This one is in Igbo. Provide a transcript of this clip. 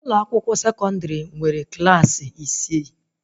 Ụlọ akwụkwọ sekọndrị nwere Klassị isi